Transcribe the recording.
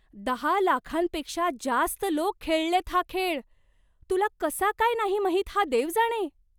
दहा लाखांपेक्षा जास्त लोक खेळलेत हा खेळ. तुला कसा काय नाही माहित हा देव जाणे?